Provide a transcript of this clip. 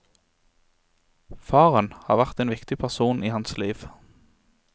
Faren har vært en viktig person i hans liv.